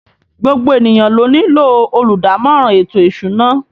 Gbogbo ènìyàn ló nílò olùdámọ̀ràn ètò ìsúná